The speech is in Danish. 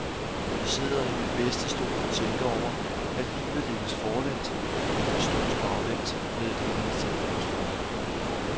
Jeg sidder i min bedste stol og tænker over, at livet leves forlæns, men forstås baglæns, meddelte hans telefonsvarer.